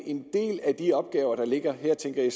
en del af de opgaver der ligger her tænker jeg